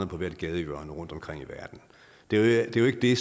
på hvert gadehjørne rundtomkring i verden det er jo ikke det